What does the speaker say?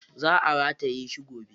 Za a rataye shi gobe.